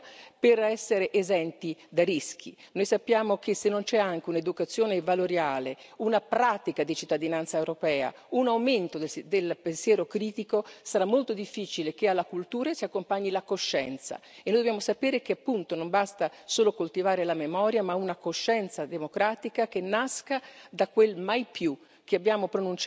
Noi sappiamo che se non c'è anche un'educazione valoriale, una pratica di cittadinanza europea, un aumento del pensiero critico, sarà molto difficile che alla cultura si accompagni la coscienza e noi dobbiamo sapere che appunto non basta solo coltivare la memoria, ma una coscienza democratica che nasca da quel mai più che abbiamo pronunciato all'inizio dell'esperienza del progetto europeo.